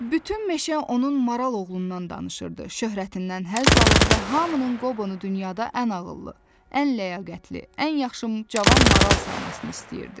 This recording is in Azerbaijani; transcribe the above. Bütün meşə onun maral oğlundan danışırdı, şöhrətindən həzz alır və hamının Qobonu dünyada ən ağıllı, ən ləyaqətli, ən yaxşı cavan maral saymasını istəyirdi.